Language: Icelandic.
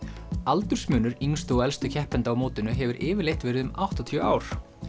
aldursmunur yngstu og elstu keppenda á mótinu hefur yfirleitt verið um áttatíu ár